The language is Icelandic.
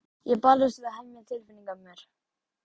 Ég barðist við að hemja tilfinningar mínar.